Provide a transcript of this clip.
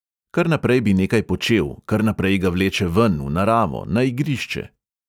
Kar naprej bi nekaj počel, kar naprej ga vleče ven, v naravo, na igrišče.